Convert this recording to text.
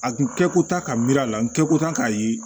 A kun kɛ ko ta ka miiri a la n kɛ ko tan k'a ye